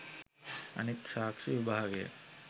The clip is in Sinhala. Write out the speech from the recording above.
අනෙක් සාක්ෂි විභාගය